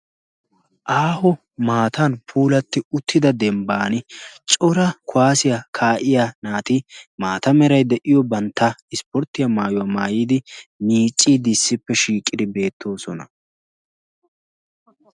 Aaho maatan puulatti uttida dembban cora kuwaasiyaa kaa7iya naati maata merai de'iyo bantta ispporttiya maayuwaa maayidi miccii dissippe shiiqidi beettoosona.